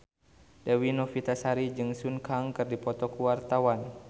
Dewi Novitasari jeung Sun Kang keur dipoto ku wartawan